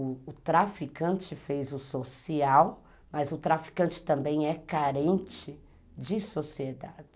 O traficante fez o social, mas o traficante também é carente de sociedade.